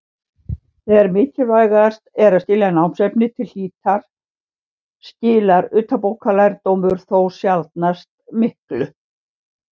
Þegar mikilvægast er að skilja námsefnið til hlítar skilar utanbókarlærdómur þó sjaldnast miklu.